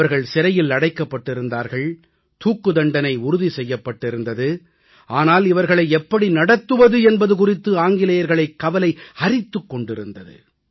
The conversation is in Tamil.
அவர்கள் சிறையில் அடைக்கப்பட்டிருந்தார்கள் தூக்கு தண்டனை உறுதி செய்யப்பட்டிருந்தது ஆனால் இவர்களை எப்படி நடத்துவது என்பது குறித்து ஆங்கிலேயர்களைக் கவலை அரித்துக் கொண்டிருந்தது